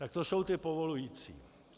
Tak to jsou ty povolující.